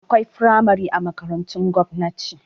Akwai firamare a makarantun gwamnati